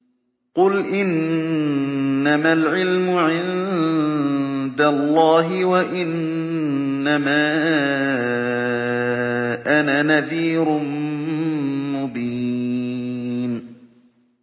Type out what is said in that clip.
قُلْ إِنَّمَا الْعِلْمُ عِندَ اللَّهِ وَإِنَّمَا أَنَا نَذِيرٌ مُّبِينٌ